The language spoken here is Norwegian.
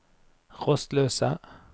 rastløse